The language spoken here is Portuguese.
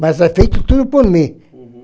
Mas é feito tudo por mim. Uhum